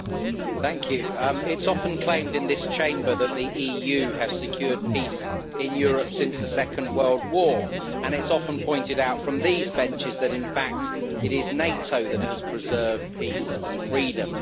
Madam President, it is often claimed in this Chamber that the EU has secured peace in Europe since the Second World War, and it is often pointed out from these benches that in fact it is NATO that has preserved peace and freedom.